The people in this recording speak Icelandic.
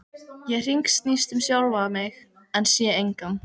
Ég hringsnýst um sjálfa mig en sé engan.